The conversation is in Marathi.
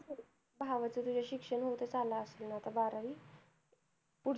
भावाचं तुझ्या शिक्षण होत आलं असणार आता बारावी